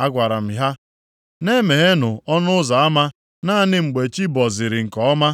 Agwara m ha, “Na-emeghenụ ọnụ ụzọ ama naanị mgbe chi bọziri nke ọma.